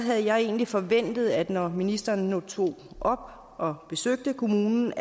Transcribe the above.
havde jeg egentlig forventet at når ministeren nu tog op og besøgte kommunen